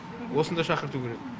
осында шақырту керек